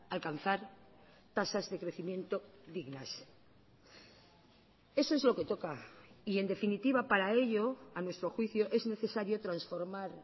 alcanzar tasas de crecimiento dignas eso es lo que toca y en definitiva para ello a nuestro juicio es necesario transformar